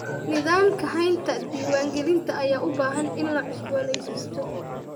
Nidaamka haynta diiwaangelinta ayaa u baahan in la cusbooneysiisto.